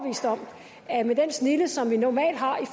at med den snilde som vi normalt har i